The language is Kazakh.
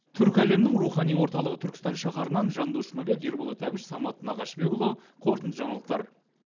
түркі әлемінің рухани орталығы түркістан шаһарынан жандос жұмабек ерболат әбіш самат нағашыбекұлы қорытынды жаңалықтар